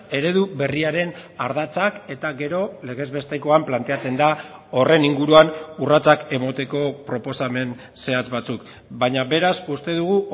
eredu berriaren ardatzak eta gero legez bestekoan planteatzen da horren inguruan urratsak emateko proposamen zehatz batzuk baina beraz uste dugu